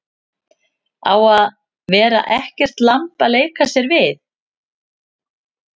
Að vera ekkert lamb að leika sér við